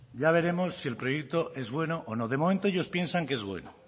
ya veremos si el proyecto es bueno o no de momento ellos piensan que es bueno